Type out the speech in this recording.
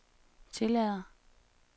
tillader